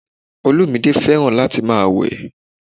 Olúmídé fẹ́ràn láti máa wẹ̀